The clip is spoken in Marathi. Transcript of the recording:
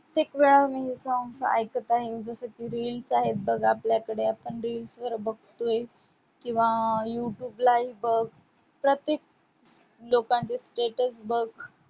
कित्येक वेळा मी songs ऐकत आहे. जसं की reels आहेत बघ आपल्याकडे आपण reels वर बघतोय, किंवा YouTube लाही बघ. प्रत्येक लोकांचे status बघ.